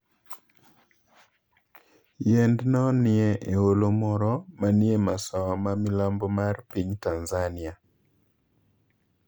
Yiend no nie e holo moro manie masawa ma milambo mar piny Tanzania.